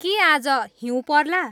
के आज हिँऊ पर्ला